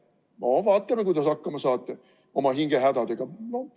Kui vigaseks jääte – no vaatame, kuidas te hakkama saate oma hingehädadega.